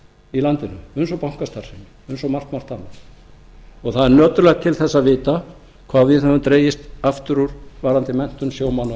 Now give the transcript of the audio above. í landinu eins og bankastarfsemi eins og margt margt annað það er nöturlegt til þess að vita hvað við höfum dregist aftur úr varðandi menntun sjómanna og